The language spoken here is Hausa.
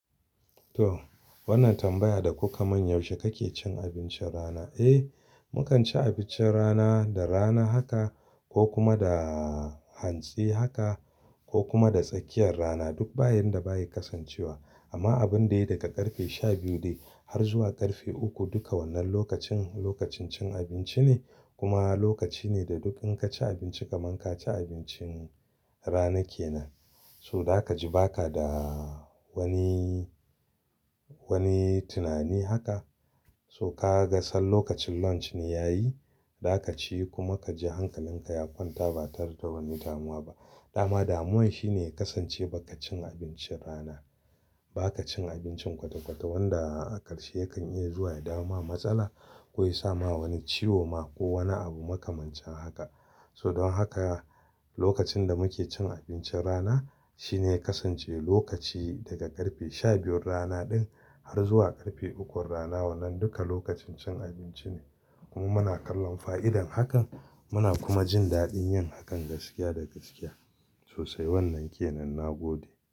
To, wannan tambaya da kuka man yaushe kake cin abincin rana? Eh, mukan ci abincin rana da rana haka ko kuma da hantsi haka ko kuma da tsakiyar rana duk bayan da ba yi kasancewa. Amma abun da ya yi daga ƙarfe sha biyu dai har zuwa ƙarfe uku duka wannan lokacin lokacin cin abinci ne kuma lokaci ne da duk in ka ci abinci kaman ka ci abincin rana kenan. So, da ka ji ba ka da wani, wani tunani haka. To, ka ga san lokacin lunch ne ya yi, da ka ci kuma ka ji hankalinka ya kwanta ba tare da wani damuwa ba. Dama damuwan shi ne ya kasance ba ka cin abincin rana. Ba ka cin abincin kwata-kwata wanda a ƙarshe yakan iya zuwa ya dawoma matsala ko ya sa ma wani ciwo ma ko wani abu makamancin haka. So, don haka lokacin da muke cin abincin rana shi ne ya kasance lokaci daga ƙarfe sha biyun rana din har zuwa ƙarfe ukun rana wannan duka lokacin cin abinci ne. Kuma muna kallon fa'idar hakan muna kuma jin daɗin yin hakan gaskiya da gaskiya sosai. Wannan ke nan na gode.